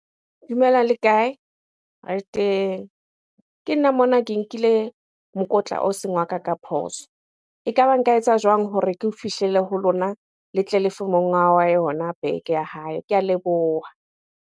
Dumelang le kae? Re teng. Ke nna mona ke nkile mokotla o seng wa ka ka phoso. Ekaba nka etsa jwang hore ke o fihlela ho lona, le tle le fe monga wa yona bag ya hae? Ke a leboha.